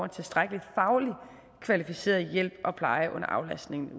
tilstrækkelig fagligt kvalificeret hjælp og pleje under aflastningen